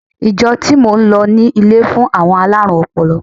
Ìjọ tí mò ń lọ ní ilé fún àwọn alárùn ọpọlọ.